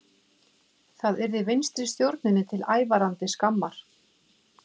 Það yrði vinstristjórninni til ævarandi skammar